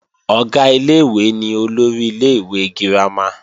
Ọ̀gá ilé-ìwé ni olórí ilé-ìwé girama